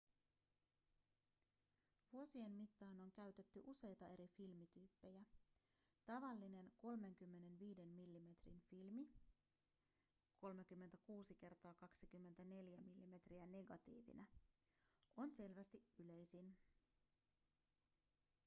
vuosien mittaan on käytetty useita eri filmityyppejä. tavallinen 35 millimetrin filmi 36 × 24 mm negatiivina on selvästi yleisin